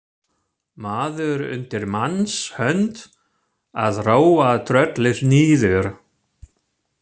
Maður undir manns hönd að róa tröllið niður.